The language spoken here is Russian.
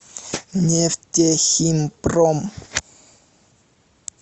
нефтехимпром